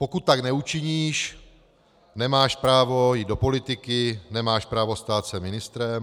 Pokud tak neučiníš, nemáš právo jít do politiky, nemáš právo stát se ministrem.